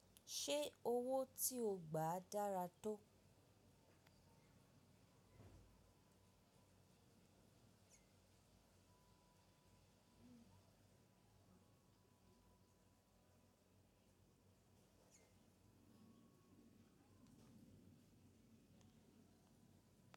Ṣé owó tí o gbà dára tó?